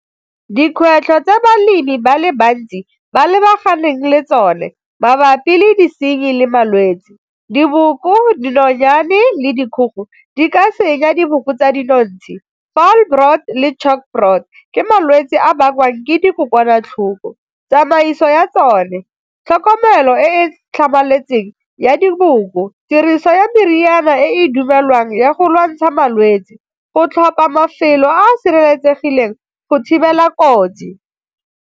Dikgwetlho tsa balemi ba le bantsi ba lebaganeng le tsone mabapi le disenyi le malwetsi, diboko, dinonyane, le dikgogo di ka senya diboko tsa dinotshe le ke malwetse a bakwang ke dikokwanatlhoko, tsamaiso ya tsone, tlhokomelo e e tlhamaletseng ya diboko, tiriso ya meriana e dumelwang ya go lwantsha malwetsi, go tlhopa mafelo a a sireletsegileng go thibela kotsi.